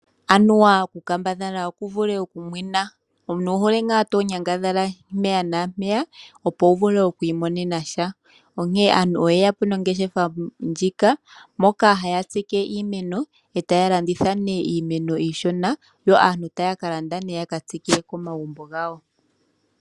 Anuwa oku kambadhala okuvule okumwena. Omuntu owuhole ngaa tonyangadhala mpeya naampeya opo wu vule okwiimonenasha onkee aantu oyeyapo nongeshefa ndjoka moka haya tsike iimeno iishona yo aantu yakalande yaka tsike komagumbo gawo.